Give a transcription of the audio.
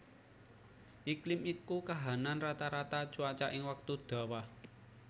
Iklim iku kahanan rata rata cuaca ing wektu dawa